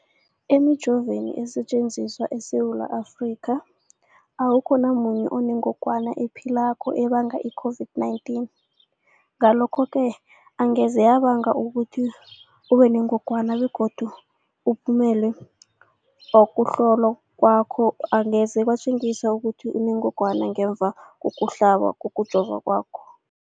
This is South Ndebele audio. Emijoveni esetjenziswa eSewula Afrika, awukho namunye onengog wana ephilako ebanga i-COVID-19. Ngalokho-ke angeze yabanga ukuthi ubenengogwana begodu umphumela wokuhlolwan kwakho angeze watjengisa ukuthi unengogwana ngemva kokuhlaba, kokujova kwakho.